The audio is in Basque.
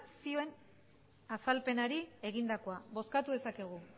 zioen azalpenari egindakoa bozkatu dezakegu